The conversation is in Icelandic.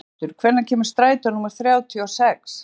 Þröstur, hvenær kemur strætó númer þrjátíu og sex?